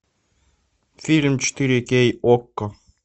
фильм четыре кей окко